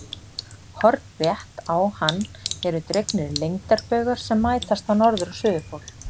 Hornrétt á hann eru dregnir lengdarbaugar sem mætast á norður- og suðurpól.